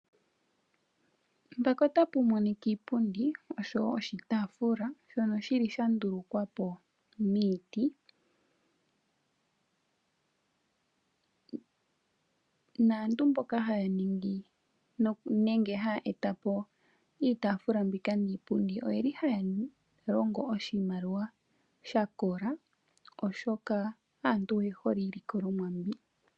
Iipundi oshowo oshitafula shono shili sha ndulukwapo miiti ,naantu mboka haaningi nenge haya etapo iitafula mbika niipundi oyeli haya longo oshimaliwa shakola oshoka aantu oyehole iilikolomwa mbyoka.